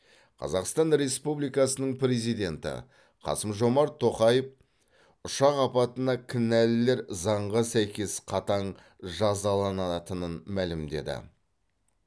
қазақстан республикасының президенті қасым жомарт тоқаев ұшақ апатына кінәлілер заңға сәйкес қатаң жазаланатынын мәлімдеді